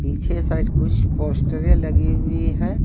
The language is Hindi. पीछे साइड कुछ पोस्टरे लगी हुई है।